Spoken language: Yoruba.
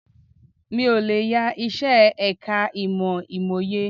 Mi ò lè yá iṣẹ́ ẹ̀ka ìmọ̀ Ìmòye